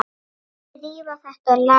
Þrífa þetta og laga hitt.